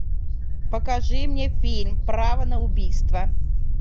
покажи мне фильм право на убийство